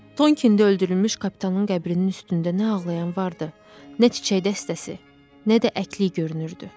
Tonkində öldürülmüş kapitanın qəbrinin üstündə nə ağlayan vardı, nə çiçək dəstəsi, nə də əkliyi görünürdü.